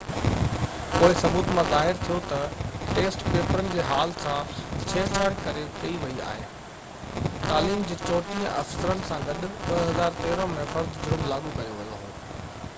پوءِ ثبوت مان ظاهر ٿيو ته ٽيسٽ پيپرن جي هال سان ڇيڙ ڇاڙ ڪئي وئي هئي تعليم جي 34 ٻين آفيسرن سان گڏ 2013 ۾ فرد جرم لاڳو ڪيو ويو هو